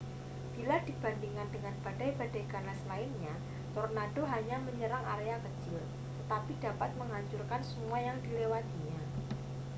bila dibandingkan dengan badai-badai ganas lainnya tornado hanya menyerang area kecil tetapi dapat menghancurkan semua yang dilewatinya